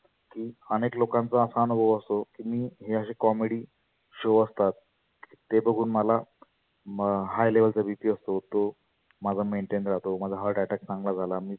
की अनेक लोकांचा असा अनुभव असतो की मी हे असे comedy show असतात. ते बघुन मला म high level चा BP असतो तो माझा maintain राहतो. माझा heartattack चांगला झाला.